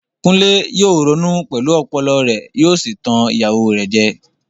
Kunle yóò ronú pẹ̀lú ọpọlọ rẹ̀ yóò sì tan ìyàwó rẹ̀ jẹ.